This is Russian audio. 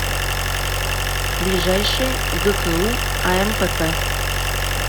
ближайший гку ампп